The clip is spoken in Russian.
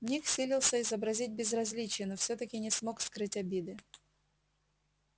ник силился изобразить безразличие но всё-таки не смог скрыть обиды